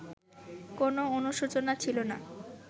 কোনো অনুশোচনা ছিল না